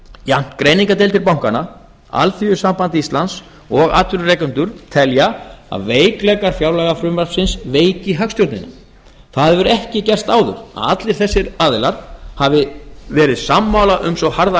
jafnt greiningardeildir bankanna alþýðusamband íslands og atvinnurekendur telja að veikleikar fjárlagafrumvarpsins veiki hagstjórnina það hefur ekki gerst áður að allir þessir aðilar hafi verið sammála um svo harða